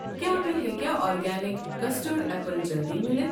کیٛاہ مےٚ ہیٚکیٛہ آرگینِک کسٹٲرڈ ایپٕل جلدِی مِلِتھ؟